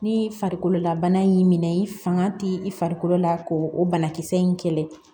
Ni farikolola bana y'i minɛ i fanga ti i farikolo la k'o o banakisɛ in kɛlɛ